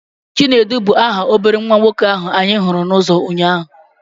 Chinedu bụ aha obere nwa nwoke ahụ anyị hụrụ n'uzo ụnyaahụ.